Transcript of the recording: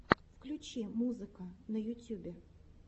включи музыка на ютюбе